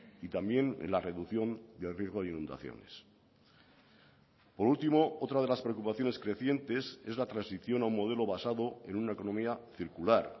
y también en la reducción del riesgo de inundaciones por último otra de las preocupaciones crecientes es la transición a un modelo basado en una economía circular